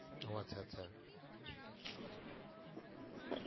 ও আচ্ছা আচ্ছা